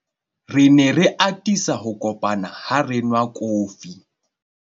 re ne re atisa ho kopana ha re nwa kofi